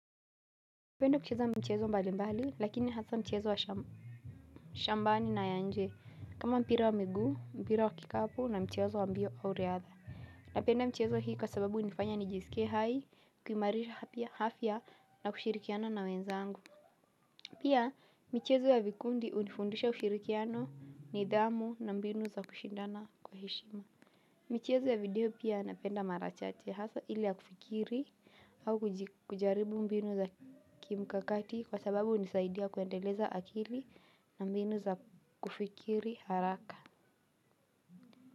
Na penda kucheza mchezo mbali mbali lakini hasa mchezo wa shambani na ya nje kama mpira wa migu mbira wa kikapu na mchezo wa mbio au riadha. Na penda mchezo hii kwa sababu nifanya nijisike hai kumarisha hafya na kushirikiana na wenzangu. Pia mchezo ya vikundi unifundusha kushirikiano ni idhamu na mbinu za kushindana kwa heshima. Michezo ya video pia napenda mara chache hasa ili ya kufikiri au kujaribu mbinu za kimkakati kwa sababu hunisaidia kuendeleza akili na mbinu za kufikiri haraka.